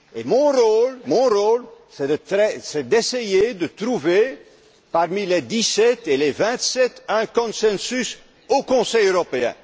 Mon rôle, c'est d'essayer de trouver, parmi les Dix sept et les Vingt sept, un consensus au Conseil européen.